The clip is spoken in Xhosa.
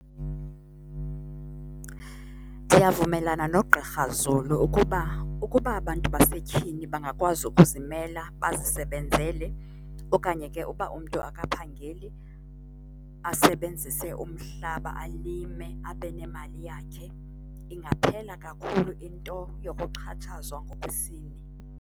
Ndiyavumelana noGqr Zulu ukuba, ukuba abantu basetyhini bangakwazi ukuzimela bazisebenzele okanye ke uba umntu akaphangeli asebenzise umhlaba alime abe nemali yakhe ingaphela kakhulu into yokuxhatshazwa ngokwesini.